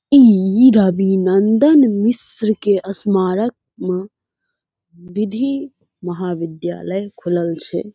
ई अभिनन्दन मिश्र के स्मारक मा विधि महाविद्यालय खुलल छे।